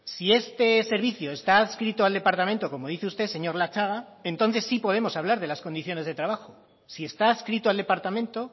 si este servicio está adscrito al departamento como dice usted señor latxaga entonces sí podemos hablar de las condiciones de trabajo si está adscrito al departamento